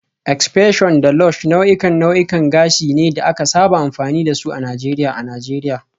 X-pression da Lush nau'ikan nau'ikan gashi ne da aka saba amfani da su a Najeriya a Najeriya